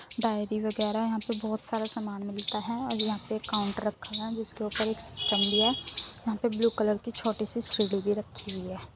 Diary वगैरा यहाँ पर बोहोत सारा सामान मिलता है और यहाँ पे एक काउंटर रखा हुआ है जिसके ऊपर एक सिस्टम भी है। यहाँ पे ब्लू कलर की छोटी सी सीढ़ी भी रखी हुई है।